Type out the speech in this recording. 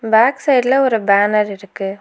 Back சைடுல ஒரு banner இருக்கு.